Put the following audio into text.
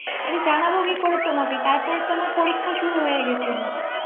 আরে জানাবো কি করে তোমাকে তারপরে তো আমার পরীক্ষা শুরু হয়ে গেছিল ৷